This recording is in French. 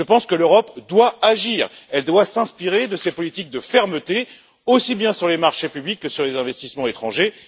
Je pense que l'Europe doit agir et s'inspirer de ces politiques de fermeté aussi bien sur les marchés publics que sur les investissements étrangers.